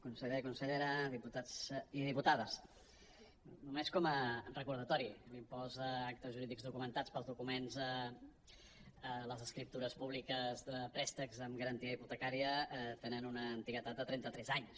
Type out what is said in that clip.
conseller consellera diputats i diputades només com a re·cordatori l’impost a actes jurídics documentats pels documents a les escriptures pú·bliques de préstecs amb garantia hipotecària tenen una antiguitat de trenta·tres anys